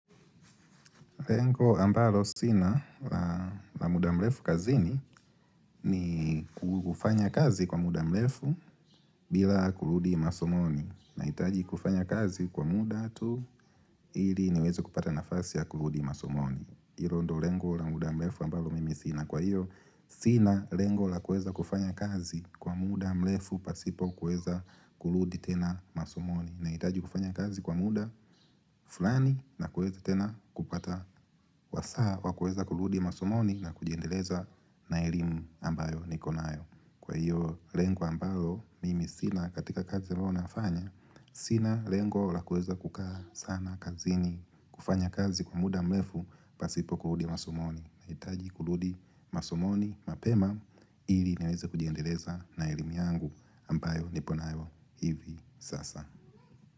Lengo ambalo sina la muda mrefu kazini ni kufanya kazi kwa muda mrefu bila kurudi masomoni. Nahitaji kufanya kazi kwa muda tu ili niweze kupata nafasi ya kurudi masomoni. Hilo ndio lengo la muda mrefu ambalo mimi sina kwa hiyo. Sina lengo la kuweza kufanya kazi kwa muda mlefu pasipo kuweza kuludi tena masomoni. Nahitaji kufanya kazi kwa muda fulani na kuweza tena kupata wasaa wa kuweza kuludi masomoni na kujiendeleza na elimu ambayo niko nayo Kwa hiyo lengo ambalo, mimi sina katika kazi ambayo nafanya Sina lengo la kuweza kukaa sana kazini kufanya kazi kwa muda mlefu pasipo kuludi masomoni nahitaji kuludi masomoni mapema ili niweze kujiendeleza na elimu yangu ambayo niponayo hivi sasa.